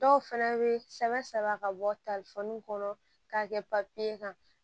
Dɔw fɛnɛ bɛ sɛbɛn sɛbɛ ka bɔ kɔnɔ k'a kɛ kan